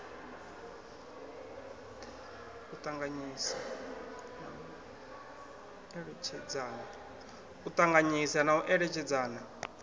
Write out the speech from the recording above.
u ṱanganyisa na u eletshedzana